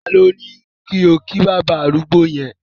Tálọ̀ní kí o kí baba arúgbó̀ yẹn?